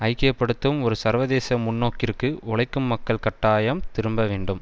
ஐக்கிய படுத்தும் ஒரு சர்வதேச முன்னோக்கிற்கு உழைக்கும் மக்கள் கட்டாயம் திரும்ப வேண்டும்